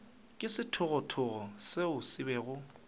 ke sethogothogo seo se bego